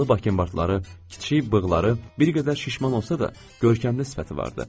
Boyalı bakinbardları, kiçik bığları, bir qədər şişman olsa da, görkəmli sifəti vardı.